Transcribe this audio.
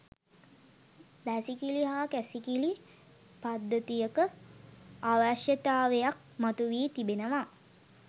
වැසිකිළි හා කැසිකිළි පද්ධතියක අවශ්‍යතාවයක් මතුවී තිබෙනවා